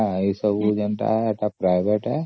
ଆଉ ଏସବୁ private